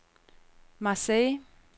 Marseilles